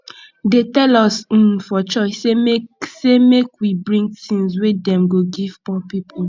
dey tell us um for church sey make sey make we bring tins wey dem go give poor people